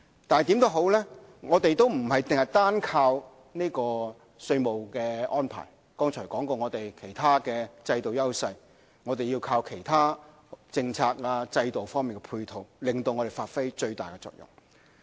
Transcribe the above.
無論如何，我們不是單靠稅務安排，剛才提到我們其他制度的優勢，我們要靠其他政策、制度方面提供配套，令我們發揮最大的作用。